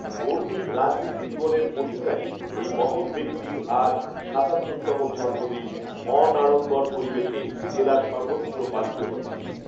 বর্নিল রাজণীতি জীবনের অধিকারী এই মহৎ ব্যাক্তির আজ সাতাত্তর তম জম্মদিন অনাঢ়ম্বর পরিবেশে জেলার সর্বত্র পালিত হচ্ছে